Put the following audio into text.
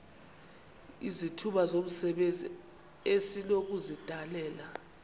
izithuba zomsebenzi esinokuzidalela